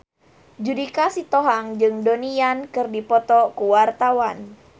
Judika Sitohang jeung Donnie Yan keur dipoto ku wartawan